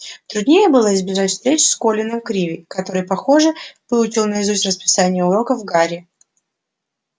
труднее было избежать встреч с колином криви который похоже выучил наизусть расписание уроков гарри